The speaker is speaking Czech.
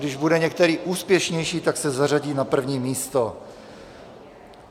Když bude některý úspěšnější, tak se zařadí na první místo.